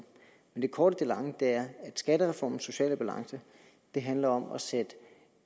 men det korte af det lange er at skattereformens sociale balance handler om at sætte